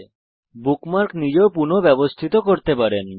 আপনি বুকমার্ক নিজেও পুনঃ ব্যবস্থিত করতে পারেন